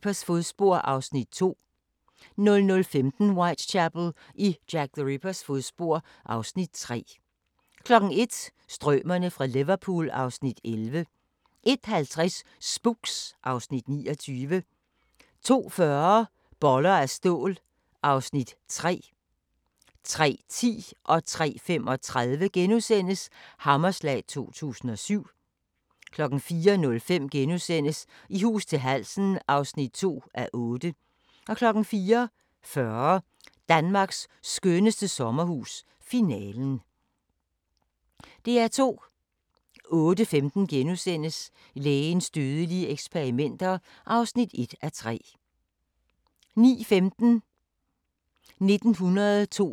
08:15: Lægens dødelige eksperimenter (1:3)* 09:15: 1982 – det er historie nu! (1:20) 09:35: 1983 – det er historie nu! (2:20) 09:55: Midt i naturen (6:9) 10:55: En reporter går i køkkenet – i Tokyo (4:5)* 11:55: En reporter går i køkkenet – i England (5:5) 12:55: Uganda – naturens perle (Afs. 3) 13:50: Hvor er min robot? 14:40: Teknologi som forandrer (Afs. 4)* 15:10: Familien fra Lærkevej (1:6)